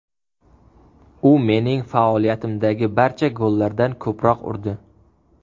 U mening faoliyatimdagi barcha gollardan ko‘proq urdi.